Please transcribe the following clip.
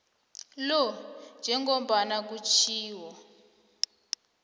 lo njengombana kutjhiwo